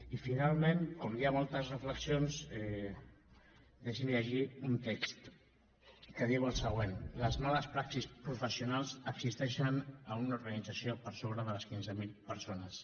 i finalment com hi ha moltes reflexions deixinme llegir un text que diu el següent les males praxis professionals existeixen a una organització per sobre de les quinze mil persones